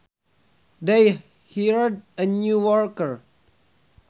They hired a new worker